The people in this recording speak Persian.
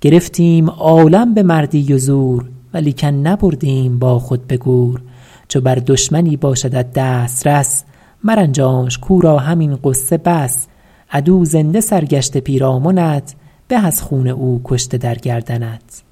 گرفتیم عالم به مردی و زور ولیکن نبردیم با خود به گور چو بر دشمنی باشدت دسترس مرنجانش کاو را همین غصه بس عدو زنده سرگشته پیرامنت به از خون او کشته در گردنت